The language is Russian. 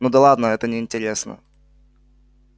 ну да ладно это неинтересно